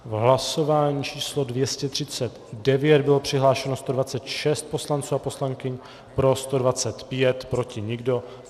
V hlasování číslo 239 bylo přihlášeno 126 poslanců a poslankyň, pro 125, proti nikdo.